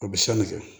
A bɛ san ne kɛ